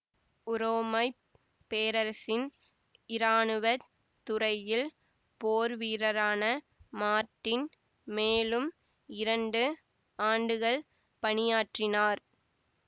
உரோமை பேரரசின் இராணுவ துறையில் போர்வீரரான மார்ட்டின் மேலும் இரண்டு ஆண்டுகள் பணியாற்றினார்